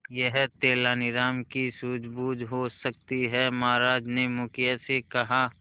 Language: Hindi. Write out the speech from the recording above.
यह तेनालीराम की सूझबूझ हो सकती है महाराज ने मुखिया से कहा